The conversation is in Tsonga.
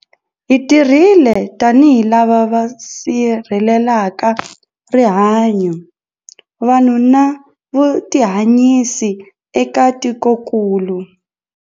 Hi tirhile tanihi lava va si rhelelaka rihanyu, vanhu na vutihanyisi eka tikokulu.